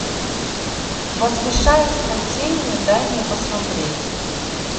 возвышаясь над тенью дай мне посмотреть